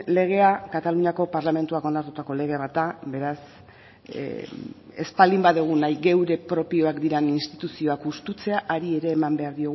legea kataluniako parlamentuak onartutako lege bat da beraz ez baldin badugu nahi geure propioak diren instituzioak hustutzea hari ere eman behar